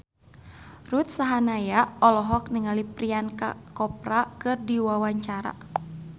Ruth Sahanaya olohok ningali Priyanka Chopra keur diwawancara